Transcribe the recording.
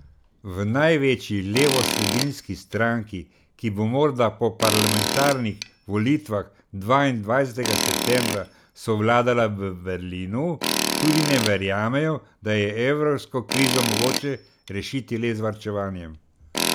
V največji levosredinski stranki, ki bo morda po parlamentarnih volitvah dvaindvajsetega septembra sovladala v Berlinu, tudi ne verjamejo, da je evrsko krizo mogoče rešiti le z varčevanjem.